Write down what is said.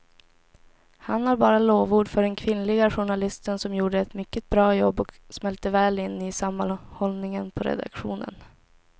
Han har bara lovord för den kvinnliga journalisten som gjorde ett mycket bra jobb och smälte väl in i sammanhållningen på redaktionen.